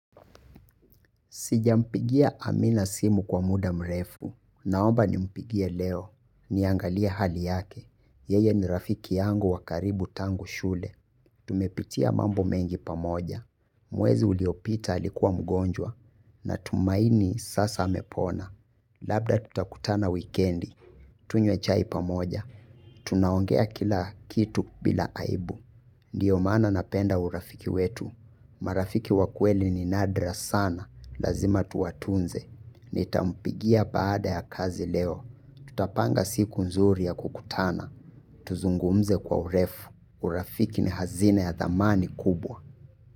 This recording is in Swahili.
Sijampigia amina simu kwa muda mrefu. Naomba ni mpigie leo. Niangalie hali yake. Yeye ni rafiki yangu wa karibu tangu shule. Tumepitia mambo mengi pamoja. Mwezi uliopita alikuwa mgonjwa. Na tumaini sasa amepona. Labda tutakutana wikiendi. Tunywe chai pamoja. Tunaongea kila kitu bila aibu. Ndio maana napenda urafiki wetu. Marafiki wakweli ni nadra sana. Lazima tuwatunze. Nitampigia baada ya kazi leo. Tutapanga siku nzuri ya kukutana. Tuzungumze kwa urefu. Urafiki ni hazina ya thamani kubwa.